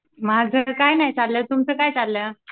माझं काय नाही चाललं तुमचं काय चाललं?